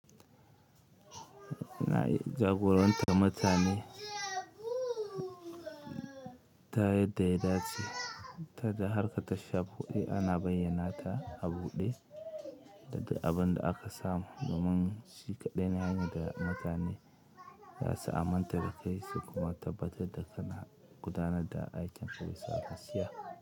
Jagoranta mutane ta yadda ya dace, ta da harka ta sha buɗe ana bayyana ta a buɗe daga abinda aka samu domin shi kaɗai ne hanyar da mutane zasu aminta da kai su kuma tabbata da kana gudanar da aikinka bisa gaskiya.